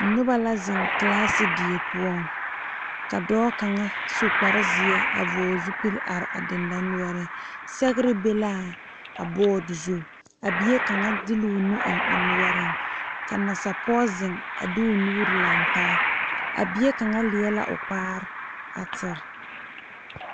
Noba ziŋ classe die poɔ ka dɔɔ kaŋa su kpare zeɛ a vɔɔl zupel zeɛ a are a dendɔ noreŋ sɛgre be la a board zu a bie kaŋa de la o nubiri kaŋa a eŋ o noreŋ ka nasa pɔŋe ziŋ de o nuuri laŋ taa a bie kaŋa leɛ la o kpaa a tere.